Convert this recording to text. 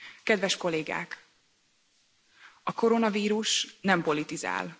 Kedves Kollégák, a koronavírus nem politizál!